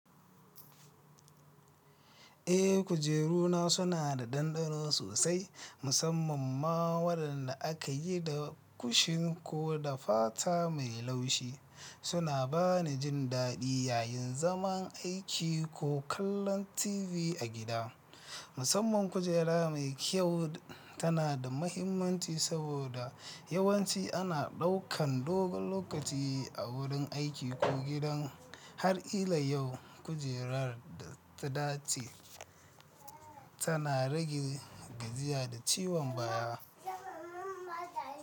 Eh, kujeru na suna da ɗanɗano sosai, musamman ma waɗanda aka yi da kushin ko da fata mai laushi. Suna bani jin daɗi yayin zaman aiki ko kallon TV a gida. Musamman kujera mai kyau tana da mahimmanci saboda yawanci ana ɗaukan dogon lokaci a wurin aiki ko gidan. Har ila yau kujerar da ta dace tana rage gajiya da ciwon baya.